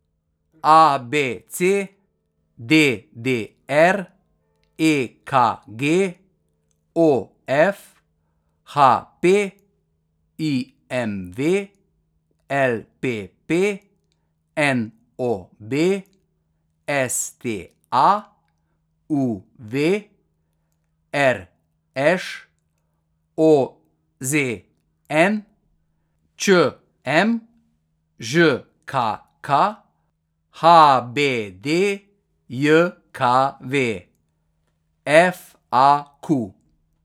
A B C; D D R; E K G; O F; H P; I M V; L P P; N O B; S T A; U V; R Š; O Z N; Č M; Ž K K; H B D J K V; F A Q.